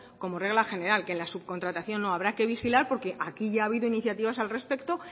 como regla general que en la subcontratación no habrá que vigilar porque aquí ya ha habido iniciativas al respecto